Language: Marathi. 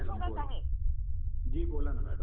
जी मॅडम बोला. बोला ना मॅडम.